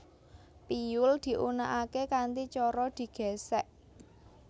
Piyul diunèkaké kanthi cara digèsèk